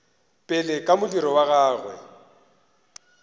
pele ka modiro wa gagwe